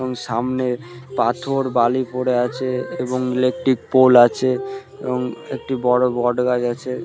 এবং সামনে পাথর বালি পরে আছে এবং ইলেকট্রিক পোল আছে এবং একটি বড় বট গাছ আছে ।